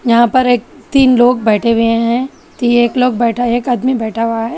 यहां पर एक तीन लोग बैठे हुए हैं कि एक लोग बैठा एक आदमी बैठा हुआ है।